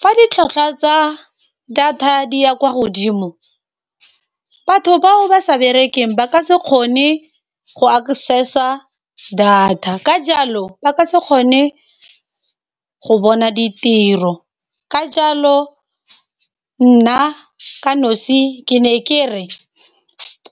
Fa ditlhwatlhwa tsa data di ya kwa godimo, batho ba o ba sa berekeng ba ka se kgone go access-a data ka jalo ba ka se kgone go bona ditiro. Ka jalo nna ka nosi ke ne kere,